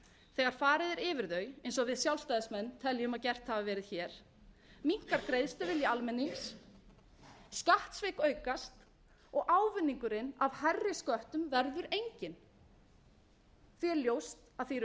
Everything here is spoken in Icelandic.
þegar farið er yfir þau eins og við sjálfstæðismenn teljum að gert hafi verið hér minnkar greiðsluvilji almennings skattsvik aukast og ávinningurinn f hærri sköttum verður enginn því er ljóst að því eru